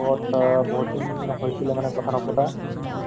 তহ তহ ঘৰত চব ফালে ভালে ন?